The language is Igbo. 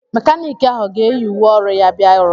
Mékánịkị ahụ ọ ga-eyi uwe ọru ya bia ọrụ?